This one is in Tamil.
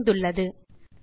இன்னொரு பயிற்சி செய்யலாம்